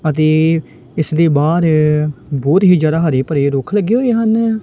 ਅਤੇ ਇਸ ਲਈ ਬਾਹਰ ਬਹੁਤ ਹੀ ਜ਼ਿਆਦਾ ਹਰੀ ਭਰੀ ਰੁੱਖ ਲੱਗੇ ਹੋਏ ਹਨ।